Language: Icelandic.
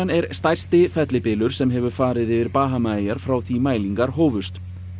er stærsti fellibylur sem hefur farið yfir Bahamaeyjar frá því mælingar hófust